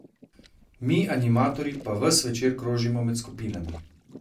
Mi, animatorji, pa ves večer krožimo med skupinami.